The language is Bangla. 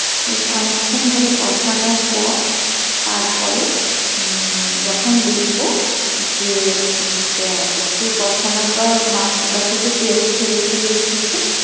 বেশ অনেকক্ষন ধরে কষানোর পর তারপরে হম যখুন দেখবো যে উম একটু কষানোর পর মাংসটা থেকে তেল ছেড়ে ছেড়ে এসেছে